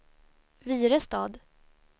Virestad